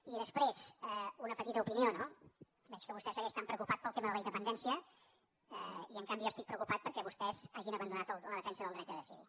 i després una petita opinió no veig que vostè segueix tan preocupat pel tema de la independència i en canvi jo estic preocupat perquè vostès hagin abandonat la defensa del dret a decidir